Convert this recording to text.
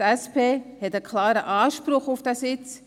Die SP hat einen klaren Anspruch auf diesen Sitz.